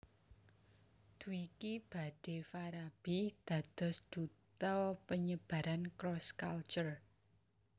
Dwiki badhe Farabi dados duta penyebaran cross culture